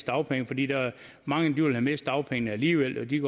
dagpengene fordi mange ville miste dagpengene alligevel og de